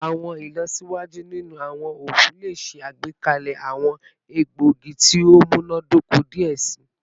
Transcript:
Awọn ilọsiwaju ninu awọn oogun le ṣe agbekalẹ awọn egboogi ti o munadoko diẹ sii